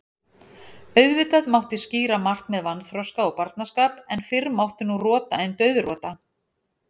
Auðvitað mátti skýra margt með vanþroska og barnaskap, en fyrr mátti nú rota en dauðrota.